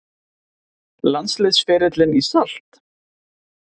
Landsliðsferillinn í salt?